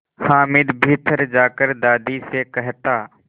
हामिद भीतर जाकर दादी से कहता